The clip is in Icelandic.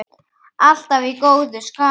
Alltaf í góðu skapi.